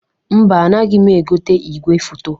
Mba, anaghị m egote igwefoto.